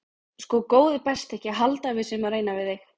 Sko góði besti ekki halda að við séum að reyna við þig.